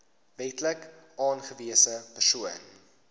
wetlik aangewese persoon